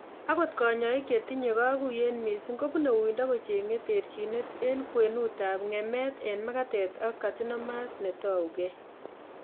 Akot kanyoik chetinye kaguiyet mising kobune uindo kocheng'e terchinet eng' kwenutab ng'emet eng' magatet ak carcinomas netougei